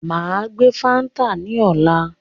Máa gbé fáńtà ní ọ̀la